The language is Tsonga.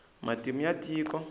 matimu ya tiko